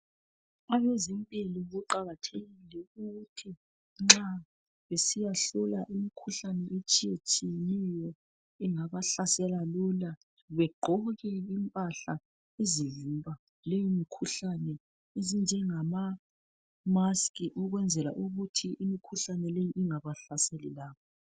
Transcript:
Abezempilo luqakathekile ukuthi nxa besiyahlola imikhuhlane etshiyeneyo engabahlasela lula begqoke impahla ezivimba leyi mikhuhlane ezinje ngama mask ukwenzela ukuthi imikhuhlane leyi ingabahlaseli labo.